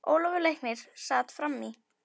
Ólafur læknir sat fram í.